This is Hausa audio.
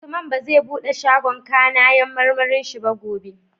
Usman bazai buɗe shagon kAnayan marmarin shi ba gobe